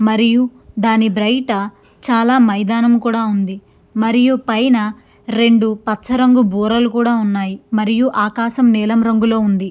మరియు ధాని బయట చాలా మైదానం కూడా ఉంది .మరియు పైన రెండు పచ్చ రంగు బూరలు కూడా ఉన్నాయ్ మరియు ఆకాశం నీలం రంగులో ఉంది.